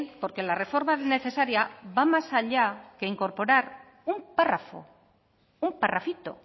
porque la reforma necesaria va más allá que incorporar un párrafo un parrafito